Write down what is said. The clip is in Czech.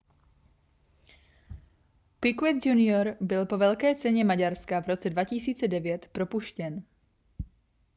piquet junior byl po velké ceně maďarska v roce 2009 propuštěn